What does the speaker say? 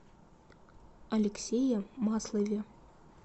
алексее маслове